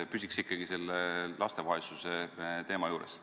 Püsiks ikkagi laste vaesuse teema juures.